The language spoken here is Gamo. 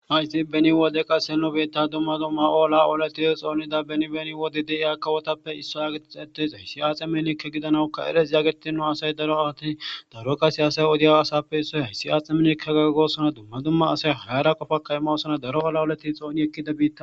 Hayzi beni wode qassi nu biiththa dumma dumma olaa oleththize xoonida beni beni wode diya kawothappe issuwaa geetheththizay atse minilike gidanawukka eres nu asay daro aawathi daro qassi asay ha wodiyaa asaappe issoy heyssi atse miniliko goosona; dumma dumma asay hara qofaakka immosona; daro olaa oleththi xooni ekkida biiththa.